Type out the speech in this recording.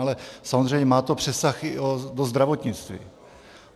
Ale samozřejmě má to přesah i do zdravotnictví.